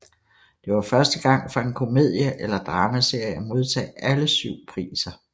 Det var første gang for en komedie eller dramaserie at modtage alle syv priser